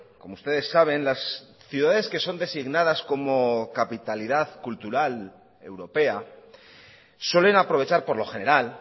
como ustedes saben las ciudades que son designadas como capitalidad cultural europea suelen aprovechar por lo general